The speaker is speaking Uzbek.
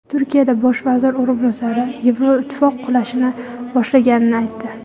Turkiya bosh vaziri o‘rinbosari Yevroittifoq qulashni boshlaganini aytdi.